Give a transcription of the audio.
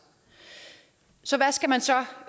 så hvad skal man så